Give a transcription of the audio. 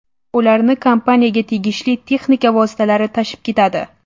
Ularni kompaniyaga tegishli texnika vositalari tashib ketadi.